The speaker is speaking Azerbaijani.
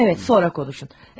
Hə, evət, sonra danışın.